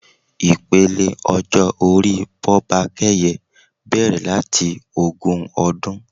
Ipele ọjọ́ orí Bọ́bakẹ́yẹ bẹrẹ̀ láti ogún ọdún.